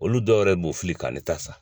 Olu dɔw yɛrɛ b'u fili ka ne ta san.